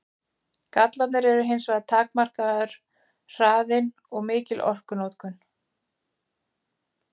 Gallarnir eru hins vegar takmarkaður hraðinn og mikil orkunotkun.